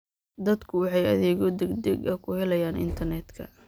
Dadku waxay adeegyo degdeg ah ku helayaan internetka.